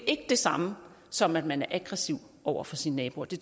ikke det samme som at man er aggressiv over for sine naboer det